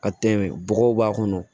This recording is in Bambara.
Ka tɛmɛ bɔgɔw b'a kɔnɔ